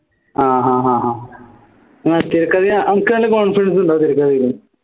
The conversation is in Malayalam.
ആഹ് ആഹ് അഹ് എങ്ങനാ തിരക്കഥയാ അനക്ക് നല്ല confidence ഉണ്ടോ തിരക്കഥയിലെ